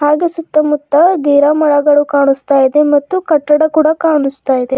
ಹಾಗೆ ಸುತ್ತಮುತ್ತ ಗಿರ ಮರಗಳು ಕಾಣುಸ್ತಾ ಇದೆ ಮತ್ತು ಕಟ್ಟಡ ಕೂಡ ಕಾಣುಸ್ತಾ ಇದೆ.